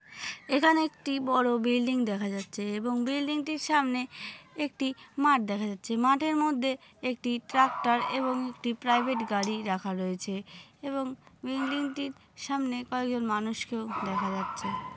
এখানে একটি বড়ো বিল্ডিং দেখা যাচ্ছে এবং বিল্ডিং টির সামনে একটি মাঠ দেখা যাচ্ছে। মাঠের মধ্যে একটি ট্রাক্টর এবং একটি প্রাইভেট গাড়ি রাখা রয়েছে এবং বিল্ডিংটির সামনে কয়েকজন মানুষকেও দেখা যাচ্ছে।